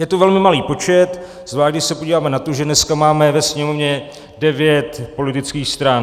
Je to velmi malý počet, zvlášť když se podíváme na to, že dneska máme ve Sněmovně devět politických stran.